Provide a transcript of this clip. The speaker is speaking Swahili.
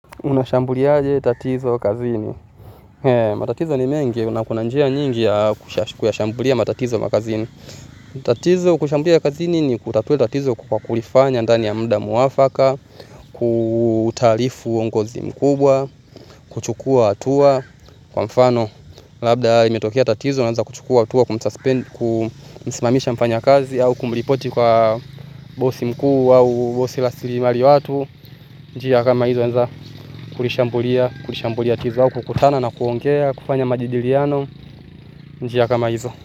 Unashambuliaje tatizo kazini matatizo ni mengi kuna kuna njia nyingi ya kushashambulia matatizo makazini. Tatizo kushambulia kazini ni kutatua tatizo kwa kulifanya ndani ya muda mwafaka. Kutaarifu uongozi mkubwa kuchukua hatua. Kwa mfano. Labda limetokea tatizo unaanza kuchukua hatua kumsimamisha mfanyakazi. Au kumripoti kwa bosi mkuu au bosi la sirimari watu. Njia kama hizo anza kulishambulia kulishambulia tizao kukutana na kuongea kufanya majadiliano. Njia kama hizo.